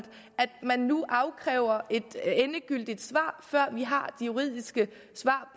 man nu afkræver et endegyldigt svar før vi har det juridiske svar